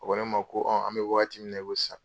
A ko ne ma ko an bɛ wagati min na i ko sisan.